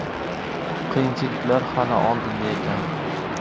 Qiyinchiliklar hali oldinda ekan.